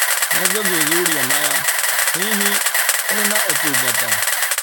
Nĩngũthuthuria maya. Hihi, kũrĩ na ũtungata